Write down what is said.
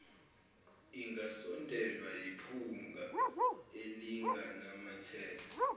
ingasondelwa yiphunga elinganamathela